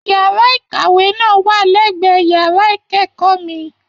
Yàrá ìkàwé náà wà l'ẹ̀gbẹ́ yàrá ikẹkọọ mí.